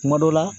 Kuma dɔ la